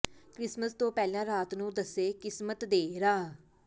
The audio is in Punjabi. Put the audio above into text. ਕ੍ਰਿਸਮਸ ਤੋਂ ਪਹਿਲਾਂ ਰਾਤ ਨੂੰ ਦੱਸੇ ਕਿਸਮਤ ਦੇ ਰਾਹ